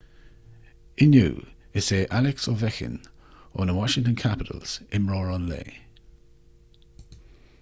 inniu is é alex ovechkin ó na washington capitals imreoir an lae